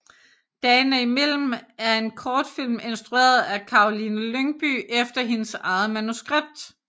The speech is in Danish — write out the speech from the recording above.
Dagene imellem er en kortfilm instrueret af Karoline Lyngbye efter hendes eget manuskript